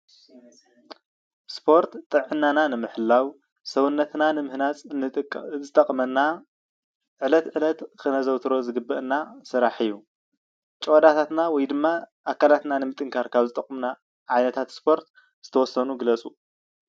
ስፖርት ጥዕናና ንምሕላው ሰውነትና ንምህናፅ ዝጠቅመና ዕለት ዕለት ክነዘውተሮ ዝግበአና ስራሕ እዩ። ጭዋዳታትና ወይ ድማ ኣካላትና ንምጥንካር ካብ ዝጠቁሙና ዓይነታት ስፖርት ዝተወሰኑ ግለፁ?